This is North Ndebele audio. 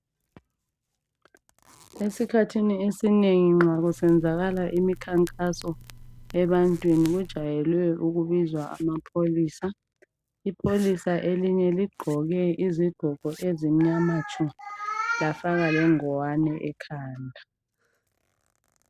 Esikhathini esinengi nxa kusenzakala imikhankaso ebantwini kujwayele ukubizwa amapholisa ipholisa elinye ligqoke izigqoko ezimnyama tshu lafaka lengwane ekhanda.